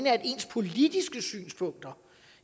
at ens politiske synspunkter